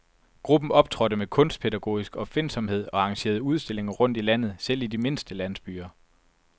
Gruppen optrådte med kunstpædagogisk opfindsomhed og arrangerede udstillinger rundt i landet, selv i de mindste landsbyer.